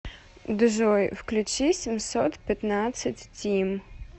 джой включи семьсот пятнадцать тим